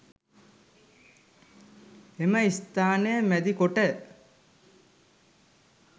එම ස්ථානය මැදිකොට